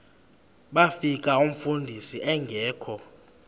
bafika umfundisi engekho